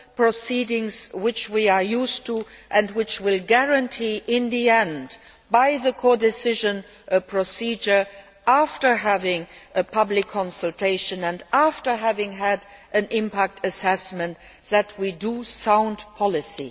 proceedings which we are used to and which will guarantee in the end, via the codecision procedure and after having a public consultation and an impact assessment, that we achieve sound policy.